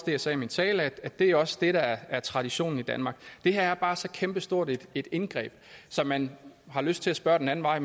jeg sagde i min tale er det også det der er traditionen i danmark det her er bare et så kæmpestort indgreb så man har lyst til at spørge den anden vej